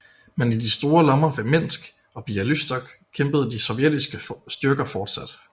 Men i de store lommer ved Minsk og Bialystok kæmpede de sovjetiske styrker fortsat